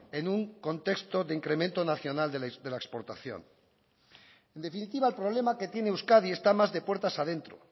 en un contexto de incremento nacional de la exportación en definitiva el problema que tiene euskadi está más de puertas adentro